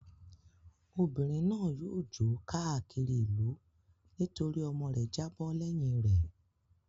Obìnrin náà yóò jó káàkiri ìlú nítorí ọmọ rẹ̀ jábọ́ lẹ́yìn rẹ̀.